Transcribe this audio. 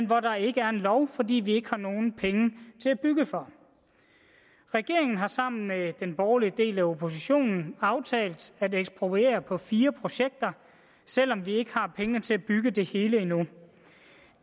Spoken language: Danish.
hvor der ikke er en lov fordi vi ikke har nogen penge til at bygge for regeringen har sammen med den borgerlige del af oppositionen aftalt at ekspropriere på fire projekter selv om vi ikke har pengene til at bygge det hele endnu